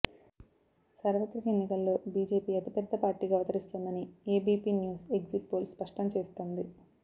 సార్వత్రిక ఎన్నికల్లో బీజేపీ అతిపెద్దపార్టీగా అవతరిస్తుందని ఏబీపీ న్యూస్ ఎగ్జిట్ పోల్ స్పష్టం చేస్తోంది